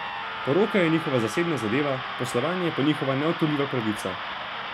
Poroka je njihova zasebna zadeva, poslovanje pa njihova neodtujljiva pravica.